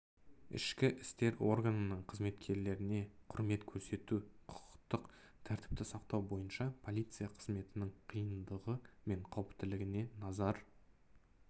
ішкі істер органының қызметкерлеріне құрмет көрсету құқықтық тәртіпті сақтау бойынша полиция қызметінің қиындығы мен қауіптілігіне назар